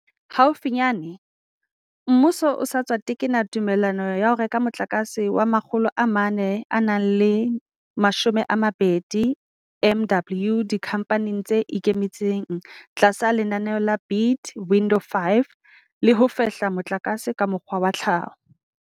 Haufinyane, mmuso o sa tswa tekena tumellano ya ho reka motlakase wa 420 MW dikhamphaneng tse ikemetseng tlasa lenaneo la Bid Window 5 la ho fehla motlakase ka mokgwa wa tlhaho.